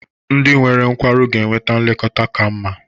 Ndị nwere nkwarụ ga-enweta nlekọta ka mma.